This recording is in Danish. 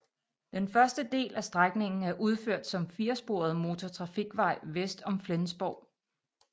Den første del af strækningen er udført som firesporet motortrafikvej vest om Flensborg